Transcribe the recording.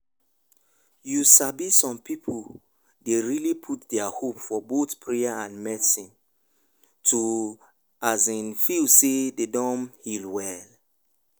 you sabi some people dey really put their hope for both prayer and medicine to um feel say dem don heal well.